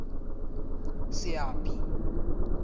seapi